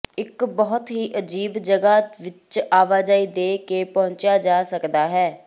ਇੱਕ ਬਹੁਤ ਹੀ ਅਜੀਬ ਜਗ੍ਹਾ ਵਿਚ ਆਵਾਜਾਈ ਦੇ ਕੇ ਪਹੁੰਚਿਆ ਜਾ ਸਕਦਾ ਹੈ